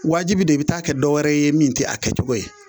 Wajibi don i bi taa kɛ dɔ wɛrɛ ye min ti a kɛcogo ye.